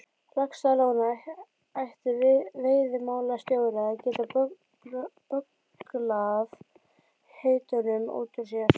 Laxalóni ætti veiðimálastjóri að geta bögglað heitunum út úr sér.